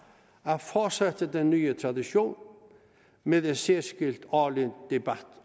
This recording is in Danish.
at fortsætte den nye tradition med en særskilt årlig debat